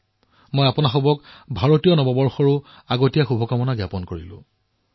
ইয়াৰ বাবেও আপোনালোক সকলোকে অগ্ৰীম শুভকামনা জনাইছো